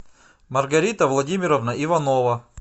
маргарита владимировна иванова